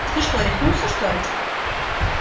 ты что рехнулся что ли